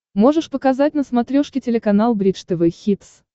можешь показать на смотрешке телеканал бридж тв хитс